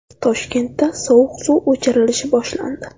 Toshkentda sovuq suv o‘chirilishi boshlandi.